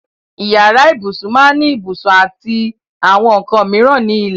Ìyàrá ìbùṣún máá ní ìbùṣún àti àwọn nkàn míran ní ilẹ̀.